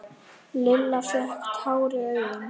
Lilla fékk tár í augun.